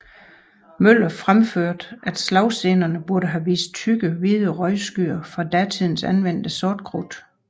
Møller fremførte at slagscenerne burde have vist tykke hvide røgskyer fra datidens anvendte sortkrudt